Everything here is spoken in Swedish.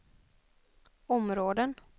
områden